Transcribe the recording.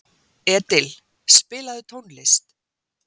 Edil, spilaðu tónlist.